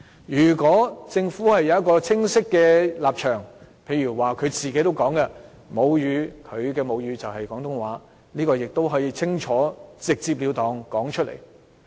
如果政府有清晰的立場，例如局長也表示其母語是廣東話，他可以直截了當地說出來。